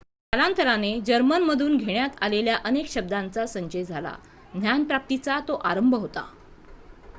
कालांतराने जर्मनमधून घेण्यात आलेल्या अनेक शब्दांचा संचय झाला ज्ञानप्राप्तीचा तो आरंभ होता